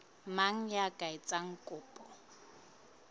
mang ya ka etsang kopo